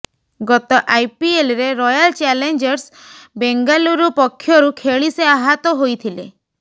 ଗତ ଆଇପିଏଲରେ royal challengers Bengaluru ପକ୍ଷରୁ ଖେଳି ସେ ଆହାତ ହୋଇଥିଲେ